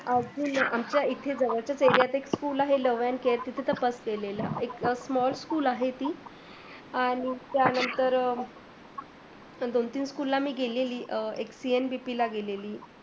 अं मचा एथे जवडचा एरियात एक school आहे लव अँड केर तेथे त एकदम small school आहेती आणी त्यानंतर दोन तीन school ला मी गेलेली, एक CNBP ला गेलेली